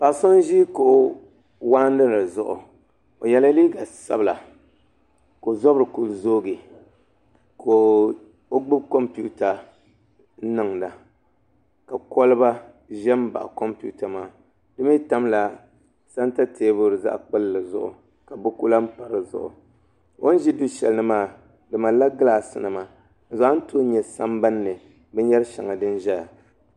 Paɣa so n ʒi kuɣu waɣanli zuɣu o yɛla liiga sabila ka o zabiri ku zoogi ka o gbubi kompiuta n niŋda ka kolba ʒʋ n baɣa kompiuta maa di mii tamla santa teebuli zaɣ kpulli zuɣu ka buku lahi pa di zuɣu o ni ʒi du shɛli ni maa do malla gilaas nima ti zaa ni tooi nyɛ sambanni binyɛri shɛŋa din ʒɛya